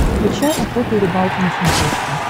включай охота и рыбалка на смотрешке